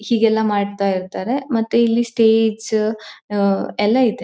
ಹೀಗೆಲ್ಲ ಮಾಡ್ತಇರ್ತ್ತರೆ ಮತ್ತೆ ಇಲ್ಲಿ ಸ್ಟೇಜ್ ಆಹ್ಹ್ಹ್ ಎಲ್ಲ ಇದೆ.